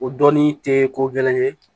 O dɔnni tɛ ko gɛlɛn ye